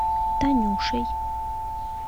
танюшей